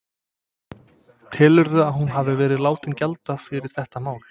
Telurðu að hún hafi verið látin gjalda fyrir þetta mál?